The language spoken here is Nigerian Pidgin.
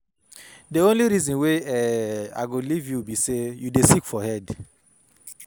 The only reason wey um I go leave you be say you dey sick for head